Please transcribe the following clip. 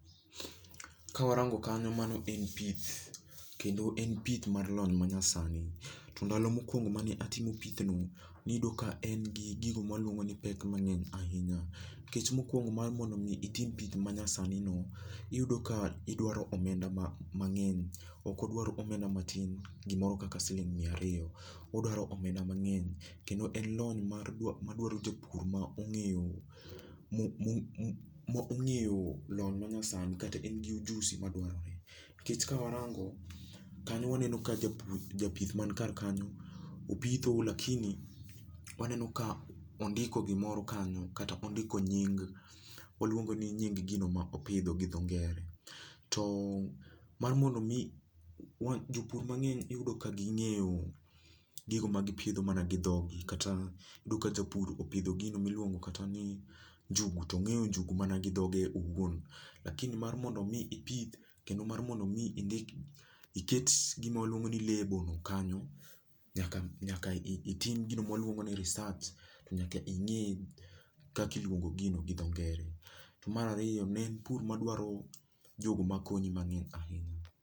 Ka warango kanyo mano en pith kendo en pith mar lony ma nyasani .To ndalo mokuongo ma ne atimo piythno ni yudo ka ne en gi pek mangeny ahinya nikech mokuongo mondo itim tich ma nyasani no iyudo ka idwaro omenda mangny ok odwar omenda matin gi moro kaka siling mia ariyo. Odwaro omenda mang'eny kendo en lony ma dwaro jopur ma ongeyo ma ongeyo lony ma nyasani kata en gi ujusi madwarore. Nikeche ka warango kanyo waneno ka japith mar kar kanyo opithe to lakini waneno ka ondiko gi moro kanyo kata ondiko nying gino ma opidho gi dho ngere. To mar mondo mi jopur mangeny iyudo ka gi ng'eyo gigi ma gi pidho ana gi dhogi kata iyudo ka japur opidho gino mi iluongo kata ni njugu to ongeyo njuguno mana gi dhoge owuon lakini mar mondo mi ipith kendo mar mondo mi indik uket gi ma walungo ni lebo kanyo nyaka itim gino ma waluongo ni resarch nyaka inge kaka iluo ngo gino gi dho ngere. To mar ariyo mar pur ma dwaro jo go ma konyi e pur.